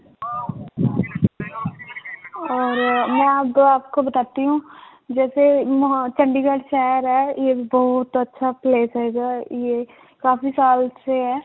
ਔਰ ਮੈਂ ਹੂੰ ਜੈਸੇ ਹਾਂ ਚੰਡੀਗੜ੍ਹ ਸ਼ਹਿਰ ਹੈ ਯੇ ਬਹੁਤ ਅੱਛਾ place ਹੈਗਾ ਹੈ ਯੇਹ ਕਾਫ਼ੀ ਸਾਲ ਸੇ ਹੈ